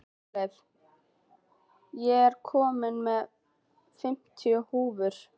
Guðleif, ég kom með fimmtíu húfur!